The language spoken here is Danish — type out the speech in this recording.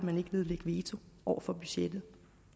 vil nedlægge veto over for budgettet